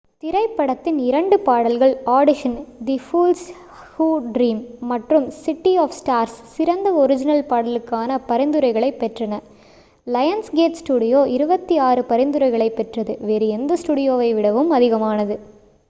திரைப்படத்தின் இரண்டு பாடல்கள் audition the fools who dream மற்றும் சிட்டி ஆஃப் ஸ்டார்ஸ் சிறந்த ஒர்ஜினல் பாடலுக்கான பரிந்துரைகளைப் பெற்றன. லயன்ஸ்கேட் ஸ்டுடியோ 26 பரிந்துரைகளைப் பெற்றது - வேறு எந்த ஸ்டுடியோவை விடவும் அதிகமானது